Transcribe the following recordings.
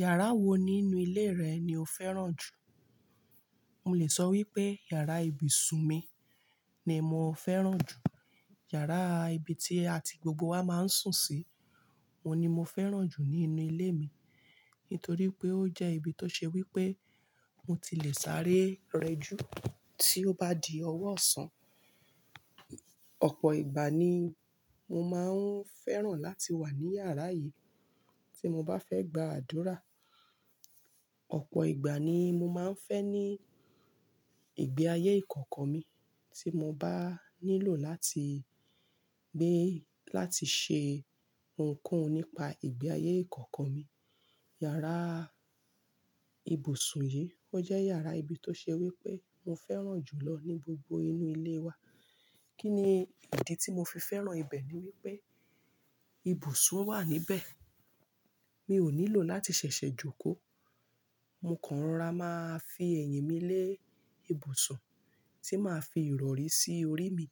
Yàrá wo nínú ilé rẹ ni o fẹ́ràn jù? Mo lè sọ wípé yàrá ibùsùn mi ni mo fẹ́ràn jù. Yàrá ibi tí àti gbogbo wa máa ń sùn sí, òun ni mo fẹ́ràn jù nínú ilé mi. Nítorí pé ó jẹ́ ibi tó ṣe wípé mo ti lè sáré rẹ jú tí ó bá di ọwọ́ ọ̀sán. Ọ̀pọ̀ ìgbà ni mo máa ń fẹ́ràn láti wà ní yàrá yìí tí mo bá fẹ́ gba àdúra. Ọ̀pọ̀ ìgbà ni mo máa ń fẹ́ ní ìgbé ayé ìkọ̀kọ̀ mi tí mo bá nílò láti gbé, láti ṣe ohunkóhun nípa ìgbé ayé ìkọ̀kọ̀ mi. Yàrá ibùsùn yìí, ó jẹ́ yàrá ibi tó ṣe wípé mo fẹ́ràn jù lọ ní gbogbo inú ilé wa. Kí ni ìdí tí mo fi fẹ́ràn ibẹ̀ ni wípé ibùsùn wà níbẹ̀. Mi ò nílò láti ṣẹ̀ṣẹ̀ jókòó. Mo kàn rora máa fi èyìn mi lé ibùsùn tí màá fi ìrọ̀rí sí orí mi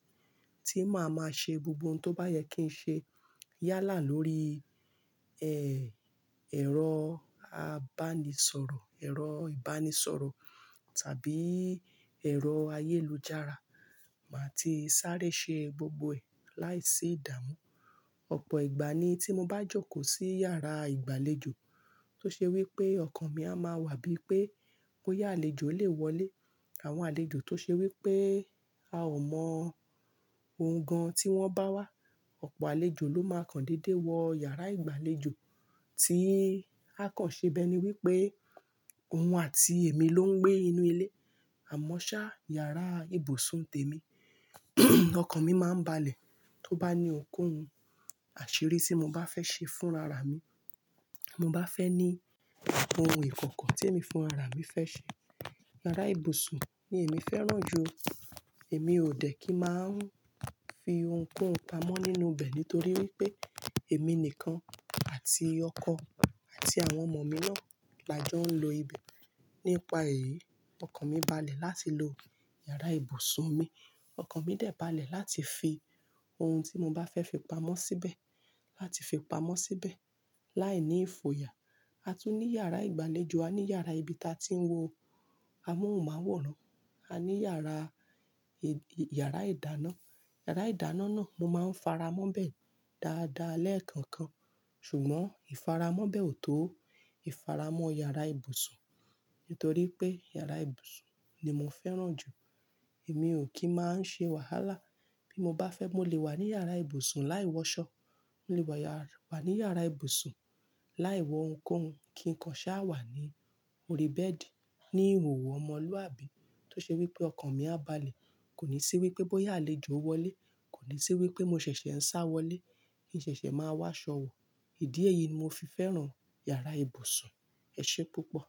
tí màá máa ṣe gbogbo ohun tó bá yẹ kí n ṣe. Yálà lórí ẹ, ẹ̀rọ abánisọ̀rọ̀, ẹ̀rọ ìbánisọ̀rọ̀ tàbí ẹ̀rọ ayélujára. Màá ti sáré ṣe gbogbo ẹ̀ láìsí ìdààmú. Ọ̀pọ̀ ìgbà ni tí mo bá jókòó sí yàrá ìgbàlejò tó ṣe wípé ọkàn mi a máa wà bí pé bóyá àlejò lè wọlé. Àwọn àlejò tó ṣe wípé a ò mọ ohun gan tí wọ́n bá wá. Ọ̀pọ̀ àlejò ló máa kan dédé wọ yàrá ìgbàlejò tí a kàn ṣe bẹ́ẹ̀ ni wípé òun àti èmi ló ń gbé inú ilé. Àmọ́ ṣá, yàrá ibùsùn tèmi ọkàn mi máa ń balẹ̀ tó bá ní ohunkóhun àṣírí tí mo bá fẹ́ ṣe fún ara mi. Ti mo bá fẹ́ ní ohun ìkọ̀kọ̀ tí èmi fún rara mi fẹ́ ṣe. Yàrá ibùsùn ni èmi fẹ́ràn jù. Èmi ò dẹ̀ kí màá ń fi ohunkóhun pamọ́ nínú ibẹ̀ nítorí wípé èmi nìkan àti ọkọ àti àwọn ọmọ mi naa lajọ ń lo ibẹ̀. Nípa èyí, ọkàn mi balẹ̀ láti lo yàrá ibùsùn mi. Ọkàn mi dẹ̀ balẹ̀ láti fi ohun tí mo bá fẹ́ fi pamọ́ síbẹ̀, láti fi pamọ́ síbẹ̀ láìní ìfoyà. A tún ní yàrá ìgbàlejò, a ní yàrá ibi tí a ti ń wọ amóhunmáwòrán. A ní yàrá, yàrá ìdáná. Yàrá ìdáná náà mo máa ń faramọ́ bẹ̀ dáadáa lẹ́ẹ̀kọ̀kan. Ṣùgbọ́n ìfaramọ́ bẹ̀ ò tó ìfaramọ́ yàrá ibùsùn. Nítorí pé yàrá ibùsùn ni mo fẹ́ràn jù. Èmi ò kí máa ń ṣe wàhálà. Bí mo bá fẹ́ mo lè wà ní yàrá ibùsùn láì wọṣọ. Mo lè wà wà ní yàrá ibùsùn láì wọ ohunkóhun kí nǹkan ṣá wà ní orí bẹ́ẹ̀dì. Ni ìhòòhò ọmọlúàbí tó ṣe wípé ọkàn mi á balẹ̀. Kò ní sí wípé bóyá àlejò wọlé, kò ní sí wípé mo ṣẹ̀ṣẹ̀ ń sá wọlé. Kí ṣẹ̀ṣẹ̀ máa wá ṣọwọ̀. Ìdí èyí ni mo fi fẹ́ràn yàrá ibùsùn. Ẹ ṣe púpọ̀.